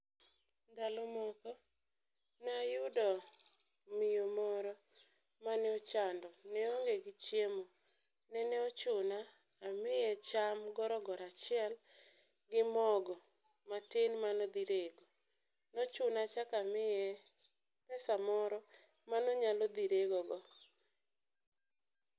Ndalo moko nayudo miyo moro mane ochando ne oonge gi chiemo, nene ochuna amiye cham gorogoro achiel gi mogo matin manodhi rego. Nochuna achako amiye pesa moro manonyalo dhi rego go.